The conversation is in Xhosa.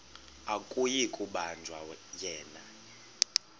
akuyi kubanjwa yena